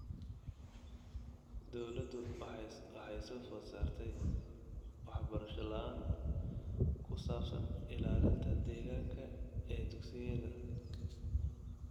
Dawladdu waxay soo food saartay waxbarasho la'aan ku saabsan ilaalinta deegaanka ee dugsiyada.